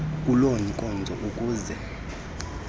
kuloo nkonzo ukuze